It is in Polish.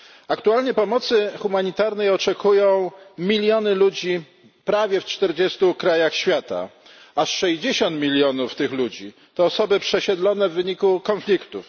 Aktualnie pomocy humanitarnej oczekują miliony ludzi prawie w czterdziestu krajach świata, aż sześćdziesiąt milionów tych ludzi to osoby przesiedlone w wyniku konfliktów.